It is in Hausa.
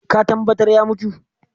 Ka tambatar ya mutu?